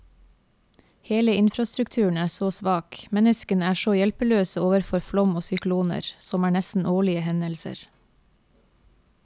Hele infrastrukturen er så svak, menneskene er så hjelpeløse overfor flom og sykloner, som er nesten årlige hendelser.